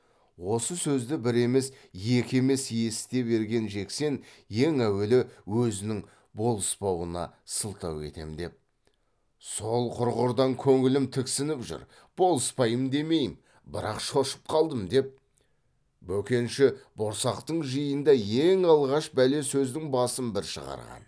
осы сөзді бір емес екі емес есіте берген жексен ең әуелі өзінің болыспауына сылтау етем деп сол құрғырдан көңілім тіксініп жүр болыспайын демеймін бірақ шошып қалдым деп бөкенші борсақтың жиында ең алғаш бәле сөздің басын бір шығарған